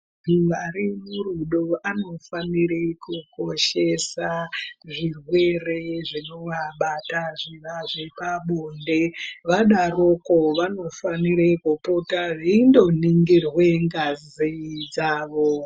Vari murudo vano fanira kukoshesa zvirwere zvinovabata zvepabonde vadaroko vanofanira kupota veindoningirwa ngazi dzawo.